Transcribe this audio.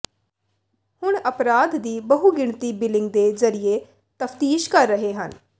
ਹੁਣ ਅਪਰਾਧ ਦੀ ਬਹੁਗਿਣਤੀ ਬਿਲਿੰਗ ਦੇ ਜ਼ਰੀਏ ਤਫ਼ਤੀਸ਼ ਕਰ ਰਹੇ ਹਨ